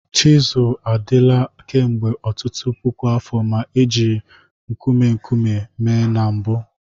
Chisuu adịla kemgbe ọtụtụ puku afọ ma e jiri nkume nkume mee na mbụ.